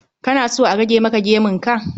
Kana so a rage maka gemun ka?